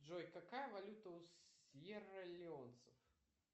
джой какая валюта у сьерра леонцев